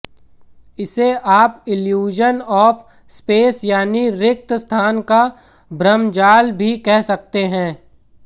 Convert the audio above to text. इसे आप illusion of space यानी रिक्त स्थान का भ्रमजाल भी कह सकते हैं